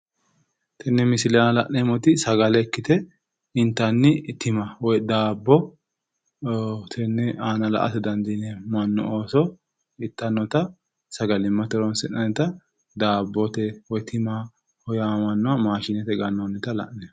Tini misile aana la'neemmohu sagale ikkite, intanni tima woyi daabbo. tenne aana la'ate dandiineemmo. mannu ooso ittannota sagalimmate horonsi'nayiita daabote woyi tima yaamamannoha la'neemmo.